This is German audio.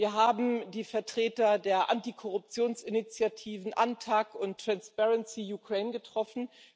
Wir haben die Vertreter der Antikorruptionsinitiativen AntAC und Transparency Ukraine getroffen.